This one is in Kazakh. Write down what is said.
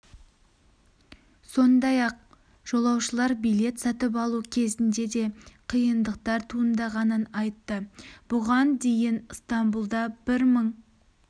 сондай-ақ жолаушылар билет сатып алу кезінде де қиындықтар туындағанын айтты бұған дейін ыстамбұлда бір мың